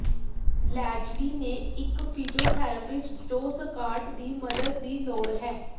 Lesley ਨੇ ਇਕ physiotherapist ਜੋ ਸਕਾਟ ਦੀ ਮਦਦ ਦੀ ਲੋੜ ਹੈ